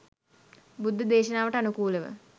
බුද්ධ දේශනාවට අනුකූලව